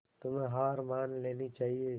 तुम्हें हार मान लेनी चाहियें